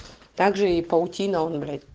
также и паутина он блядь